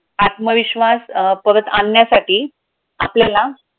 आत्मविश्वास अं परत आणण्यासाठी आपल्याला